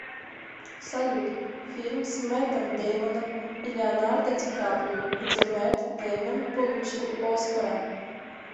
салют фильм с мэттом деймоном и леонардо ди каприо где мэтт деймон получил оскара